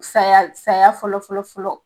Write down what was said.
Saya saya fɔlɔ fɔlɔ fɔlɔ